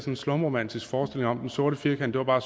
en slumromantisk forestilling om at den sorte firkant bare var